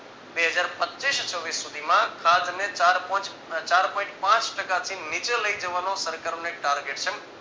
બે હજાર પચીસ છવ્વીસ સુધીમા ખાદ્યને ચાર point પાંચ ટકાથી નીચે લઈ જવાનો સરકારને target છે.